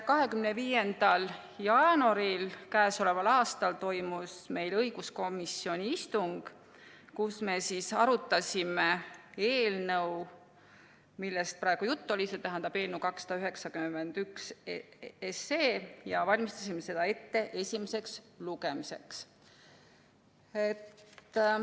25. jaanuaril k.a toimus õiguskomisjoni istung, kus me arutasime eelnõu, millest praegu jutt on, st eelnõu 291, ja valmistasime seda ette esimeseks lugemiseks.